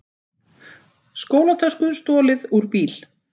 Skólatösku stolið úr bíl